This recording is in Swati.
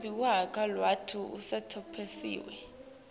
lelisetulu lwati lolusecophelweni